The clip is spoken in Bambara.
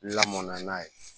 Lamɔn na n'a ye